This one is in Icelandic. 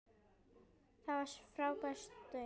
Það er frábær staður.